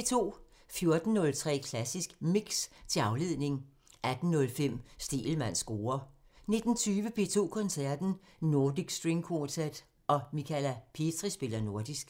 14:03: Klassisk Mix – til afledning 18:05: Stegelmanns score (tir) 19:20: P2 Koncerten – Nordic String Quartet og Michala Petri spiller nordisk